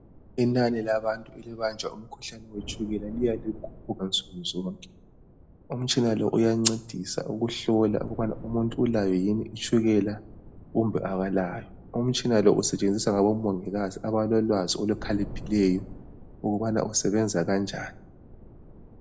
Inanimate labantu elibanjwa umkhuhlane wetshukela liya likhuphuka nsukunzonke. Umtshina lo, uyancedisa ukuhlola, ukuba umuntu ulayo yini itshukela kumbe kalayo. Umtshina lo usetshenziswa ngabomongikazi, abalolwazi olukhaliphileyo, ukuthi usebenza kanjani.